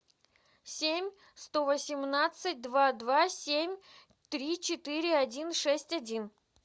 семь сто восемнадцать два два семь три четыре один шесть один